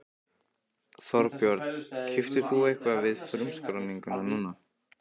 Þorbjörn: Keyptir þú eitthvað við frumskráninguna núna?